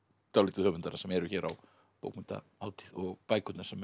dálítið höfundana sem eru hér á bókmenntahátíð og bækurnar sem